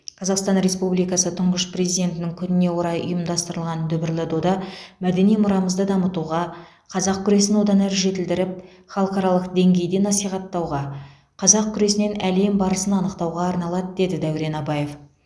қазақстан республикасы тұңғыш президентінің күніне орай ұйымдастырылған дүбірлі дода мәдени мұрамызды дамытуға қазақ күресін одан әрі жетілдіріп халықаралық деңгейде насихаттауға қазақ күресінен әлем барысын анықтауға арналады деді дәурен абаев